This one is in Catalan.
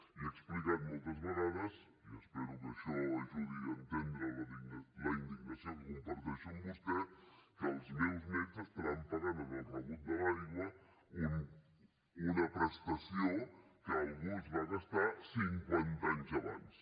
i he explicat moltes vegades i espero que això ajudi a entendre la indignació que comparteixo amb vostè que els meus nets pagaran en el rebut de l’aigua una prestació que algú es va gastar cinquanta anys abans